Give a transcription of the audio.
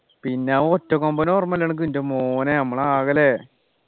പിന്നെ ആ ഒറ്റക്കൊമ്പന ഓർമ്മയില്ലേ അനക്ക് ൻ്റെ മോനെ മ്മൾ ആകെ ല്ലേ